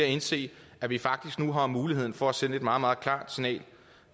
indse at vi faktisk nu har muligheden for at sende et meget meget klart signal